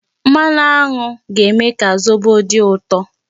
Mmanụ aṅụ ga-eme ka zobo dị ụtọ.